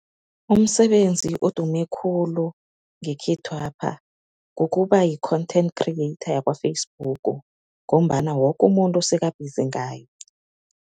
Umsebenzi odume khulu ngekhethwapha kukuba yi-content creator yakwa-Facebook ngombana woke umuntu seka-busy ngayo.